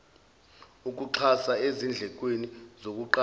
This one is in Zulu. ukuxhasa ezindlekweni zokuqasha